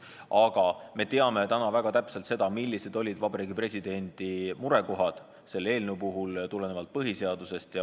Aga me teame täna väga täpselt, millised olid Vabariigi Presidendi murekohad tulenevalt põhiseadusest.